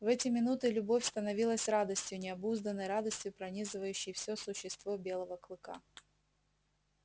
в эти минуты любовь становилась радостью необузданной радостью пронизывающей всё существо белого клыка